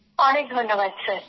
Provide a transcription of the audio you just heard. অনেক ধন্যবাদ স্যার